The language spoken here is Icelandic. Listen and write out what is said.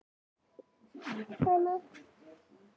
ölvunin ein og sér er ekki refsiverð